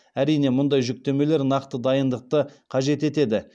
әрине мұндай жүктемелер нақты дайындықты қажет етеді